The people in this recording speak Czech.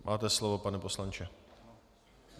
Máte slovo, pane poslanče.